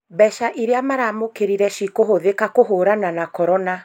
Mbeca iria maramũkĩrire cikũhũthĩka kũhũrana na korona